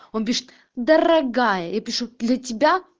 он пишет дорогая я пишу для тебя